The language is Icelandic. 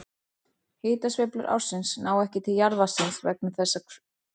Hitasveiflur ársins ná ekki til jarðvatnsins vegna þess hve djúpt er á því.